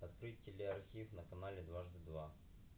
открыть теле архив на канале дважды два